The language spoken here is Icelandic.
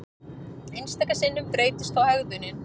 Einstaka sinnum breytist þó hegðunin.